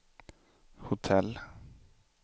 hotell